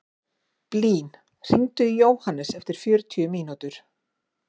Blín, hringdu í Jóhannes eftir fjörutíu mínútur.